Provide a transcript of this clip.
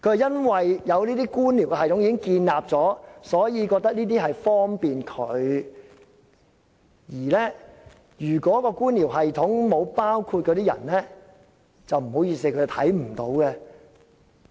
因為這些官僚系統已經建立，所以他覺得這些安排很方便，而在官僚系統中並沒有包括的人，他便看不到。